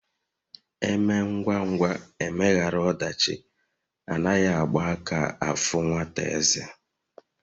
Emee ngwa ngwa emeghara odachi Anaghi Agba aka afu nwata eze